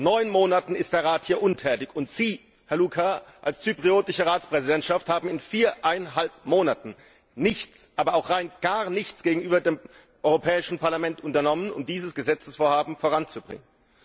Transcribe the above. Seit neun Monaten ist der Rat hier untätig, und Sie, Herr Louca, als zyprischer Ratspräsident haben in viereinhalb Monaten nichts, aber auch rein gar nichts gegenüber dem Europäischen Parlament unternommen, um dieses Gesetzesvorhaben voranzubringen.